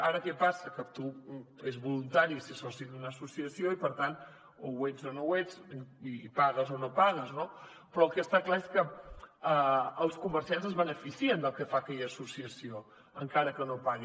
ara què passa que és voluntari ser soci d’una associació i per tant o ho ets o no ho ets i pagues o no pagues no però el que està clar és que els comerciants es beneficien del que fa aquella associació encara que no paguin